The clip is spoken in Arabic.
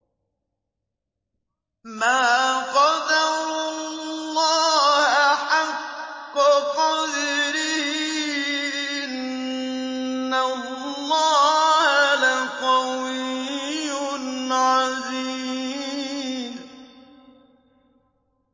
مَا قَدَرُوا اللَّهَ حَقَّ قَدْرِهِ ۗ إِنَّ اللَّهَ لَقَوِيٌّ عَزِيزٌ